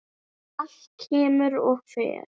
Allt kemur og fer.